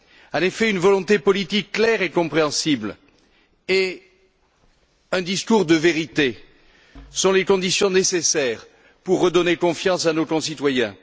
En effet, une volonté politique claire et compréhensible et un discours de vérité sont les conditions nécessaires pour redonner confiance à nos concitoyens.